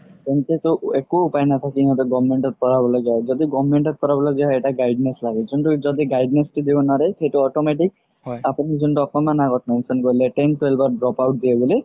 তেন্তেতো একো উপায় নাই নাথাকি government ত পঢ়াব লাগিয়া হয় যদি government ত পঢ়াব লাগিয়া হয় এটা guide ness লাগে যোন্তু যদি guide ness তো দিব নোৱাৰে সেইটো automatic আপুনি যুন্তু অকমান আগত ক'লে ten twelve ত dropout দিয়ে বুলি